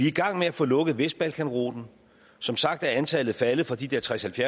i gang med at få lukket vestbalkanruten som sagt er antallet faldet fra de der tredstusind